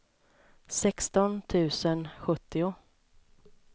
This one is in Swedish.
sexton tusen sjuttio